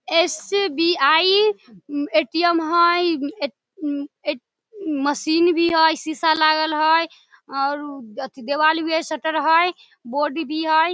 SBI. ATM. हेय एट एट उम्म मशीन भी हेय शीशा लागल हेय और अथी देवाल भी हेय शटर हेय बोर्ड भी हेय।